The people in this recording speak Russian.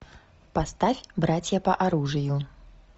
поставь братья по оружию